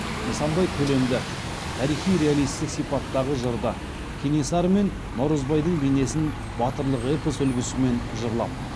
нысанбай көлемді тарихи реалистік сипаттағы жырды кенесары мен наурызбайдың бейнесін батырлық эпос үлгісімен жырлап